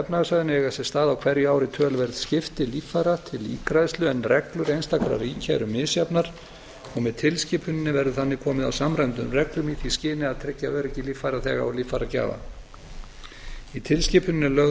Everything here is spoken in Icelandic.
efnahagssvæðinu eiga sér stað á hverju ári töluverð skipti líffæra til ígræðslu í menn en reglur einstakra ríkja misjafnar og með tilskipuninni verður þannig komi á samræmdum reglum í því skyni að tryggja öryggi líffæraþega og líffæragjafa í tilskipuninni er lögð